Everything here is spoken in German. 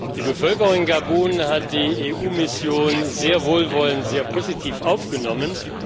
Die Bevölkerung in Gabun hat die EU Mission sehr wohlwollend und positiv aufgenommen.